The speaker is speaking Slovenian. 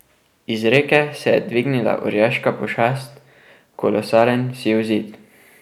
Iz reke se je dvignila orjaška pošast, kolosalen siv zid.